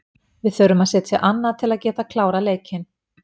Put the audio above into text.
Við þurfum að setja annað til að geta klárað leikinn.